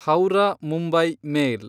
Howrah Mumbai ಮೇಲ್